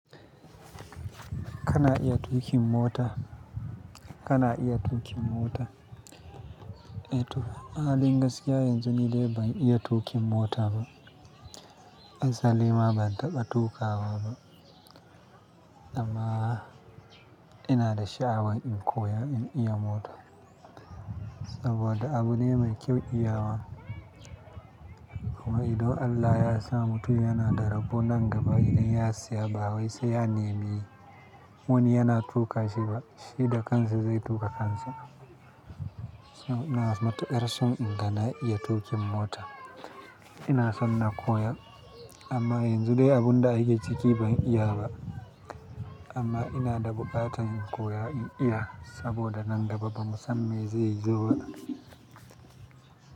Kana iya tuƙin mota? Kana iya tuƙin mota? Eh to, a halin gaskiya yanzu ni dai ban iya tuƙin mota ba. Azzalima ban taɓa tuƙawa ba amma ina da sha'awar in koya in iya mota saboda abu ne mai kyau iyawa. Amma idan Allah ya sa mutum yana da rabon nan gaba idan ya siya, ba wai sai ya nemi wani yana tuƙa shi ba, shi da kansa zai tuƙa kansa. iNa matukar son inga na iya tuƙin mota. Ina son na koya amma yanzu dai abun da ai ke ciki ban iya ba amma ina da bukata in koya in iya saboda nan gaba bamu san me zai zo ba.